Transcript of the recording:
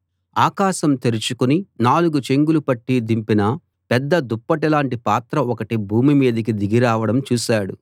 ఆకాశం తెరుచుకుని నాలుగు చెంగులు పట్టి దింపిన పెద్ద దుప్పటి లాంటి పాత్ర ఒకటి భూమి మీదికి దిగి రావడం చూశాడు